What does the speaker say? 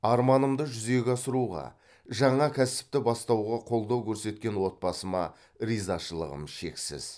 арманымды жүзеге асыруға жаңа кәсіпті бастауға қолдау көрсеткен отбасыма ризашылығым шексіз